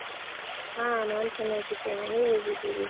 ಹಾ, ನಾನ್ ಚೆನ್ನಾಗಿದ್ದೇನೆ. ನೀವ್ ಹೇಗಿದ್ದೀರಿ?